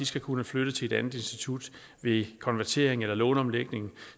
skal kunne flytte til et andet institut ved konvertering eller låneomlægning